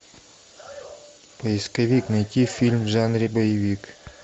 поисковик найти фильм в жанре боевик